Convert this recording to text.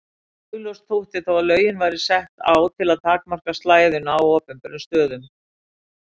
Augljóst þótti þó að lögin voru sett á til að takmarka slæðuna á opinberum stöðum.